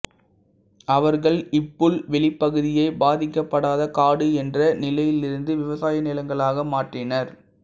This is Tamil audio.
அவர்கள் இப்புல்வெளிப்பகுதியை பாதிக்கப்படாத காடு என்ற நிலையிலிருந்து விவசாய நிலங்களாக மாற்றினர்